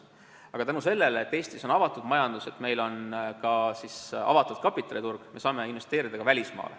Aga tänu sellele, et Eesti on avatud majandusega ja et meil on avatud kapitaliturg, saame investeerida ka välismaale.